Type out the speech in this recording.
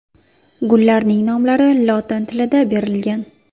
Gullarning nomlari lotin tilida berilgan.